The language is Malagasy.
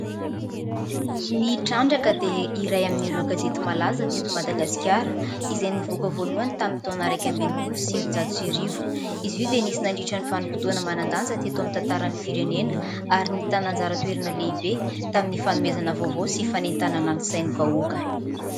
Ny Trandraka dia iray amin'ireo gazety malaza teto Madagasikara, izay nivoaka voalohany tamin'ny taona iraika amby enimpolo sy sivinjato sy arivo. Izy io dia nisy nandritra ny vanim-potoana manan-danja teto amin'ny tantaran'ny firenena ary nitana anjara toerana lehibe tamin'ny fanomezana vaovao sy fanentanana ny sain'ny vahoaka.